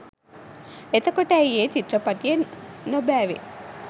එතකොට ඇයි ඒ චිත්‍රපටිය නොබෑවෙ